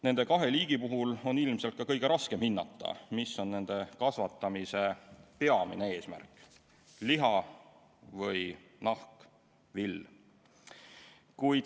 Nende kahe liigi puhul on ilmselt kõige raskem hinnata, mis on nende kasvatamise peamine eesmärk – liha või nahk ja vill.